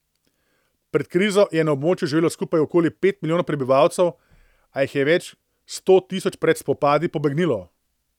Pred krizo je na območju živelo skupaj okoli pet milijonov prebivalcev, a jih je več sto tisoč pred spopadi pobegnilo.